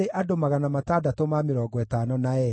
na ngamĩĩra 435, na ndigiri 6,720.